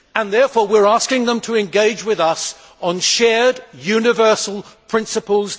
Therefore, we are asking them to engage with us on shared, universal principles.